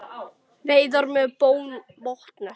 Veiðar með botnnet